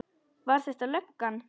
Var þetta löggan?